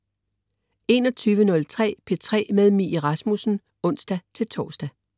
21.03 P3 med Mie Rasmussen (ons-tors)